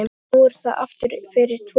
Nú er það aftur fyrir tvo.